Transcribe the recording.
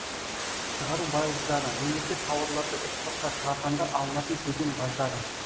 шығару баждары мемлекет тауарларды экспортқа шығарғанда алынатын кеден баждары